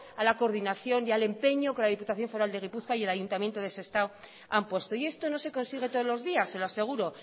a la coordinación y al empeño que la diputación foral de bizkaia y el ayuntamiento de sestao han puesto y esto no se consigue todos los días se lo aseguro